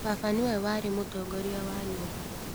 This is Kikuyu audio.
Baba nĩwe warĩ Mũtongoria wa Nyũmba